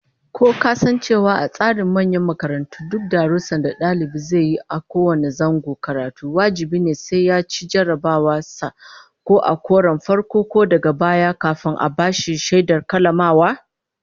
Ko kasan cewa a tsarin manyan makarantu duk darussan da dalibi zai yi a kowane zangon karatu wajibi ne sai yaci jarrabawar sa ko a karon farko ko daga baya, kafin a bashi shaidar kammalawa?